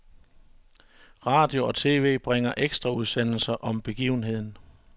Radio og tv bringer ekstraudsendelser om begivenheden.